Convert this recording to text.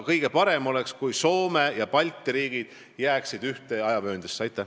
Kõige parem oleks, kui Soome ja Balti riigid jääksid ühte ajavööndisse.